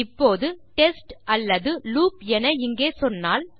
இப்போது டெஸ்ட் அல்லது லூப் என இங்கே சொன்னால்